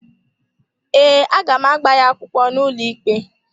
Ee, a ga m agba ya akwụkwọ n’ụlọikpe.